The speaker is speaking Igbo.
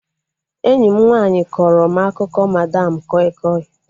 Enyi m nwaanyị kọrọ m akụkọ madam koi koi